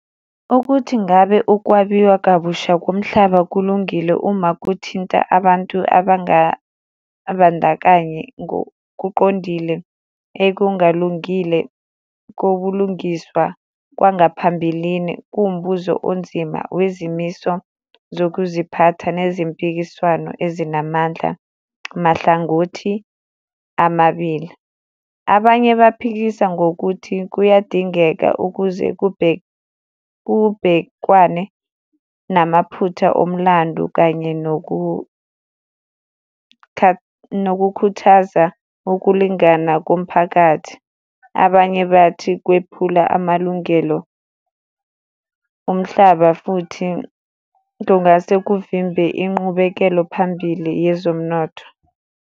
Ukuthi ngabe ukwabiwa kabusha komhlaba kulungile uma kuthinta abantu abangabandakanyi ngokuqondile ekungalungile kobulungiswa kwangaphambilini, kuwumbuzo onzima wezimiso zokuziphatha nezimpikiswano ezinamandla mahlangothi amabili. Abanye baphikisa ngokuthi kuyadingeka ukuze kubhekwane namaphutha omlando kanye nokukhuthaza ukulingana komphakathi. Abanye bathi kwephula amalungelo umhlaba futhi kungase kuvimbe inqubekelo phambili yezomnotho.